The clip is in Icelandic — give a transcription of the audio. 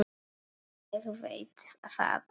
Ég veit það alveg.